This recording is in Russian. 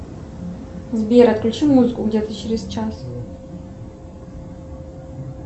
сбер отключи музыку где то через час